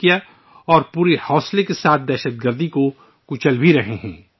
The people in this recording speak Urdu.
اب ہم پورے حوصلے کے ساتھ دہشت گردی پر قابو پا رہے ہیں